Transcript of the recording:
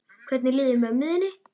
Hvernig líður mömmu þinni?